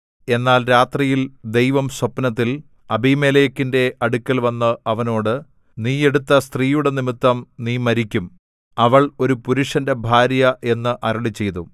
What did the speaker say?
എന്നാൽ രാത്രിയിൽ ദൈവം സ്വപ്നത്തിൽ അബീമേലെക്കിന്റെ അടുക്കൽവന്ന് അവനോട് നീ എടുത്ത സ്ത്രീയുടെ നിമിത്തം നീ മരിക്കും അവൾ ഒരു പുരുഷന്റെ ഭാര്യ എന്ന് അരുളിച്ചെയ്തു